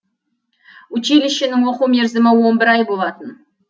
училищенің оқу мерзімі он бір ай болатын